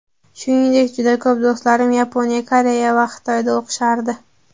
Shuningdek, juda ko‘p do‘stlarim Yaponiya, Koreya va Xitoyda o‘qishardi.